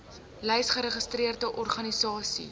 lys geregistreerde organisasies